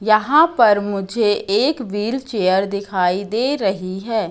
यहां पर मुझे एक व्हील चेयर दिखाई दे रही है।